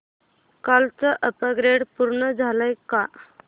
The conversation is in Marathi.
कालचं अपग्रेड पूर्ण झालंय का